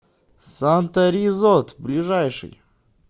санта ризот ближайший